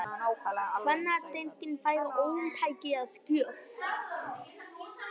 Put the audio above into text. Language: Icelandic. Kvennadeildin fær ómtæki að gjöf